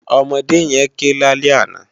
Òmòdé yèn ké lálè àná